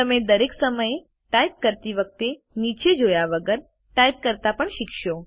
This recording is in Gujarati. તમે દરેક સમયે ટાઇપ કરતી વખતે નીચે જોયા વગર ટાઇપ કરતા પણ શીખશો